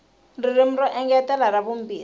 ririmi ro engetela ra vumbirhi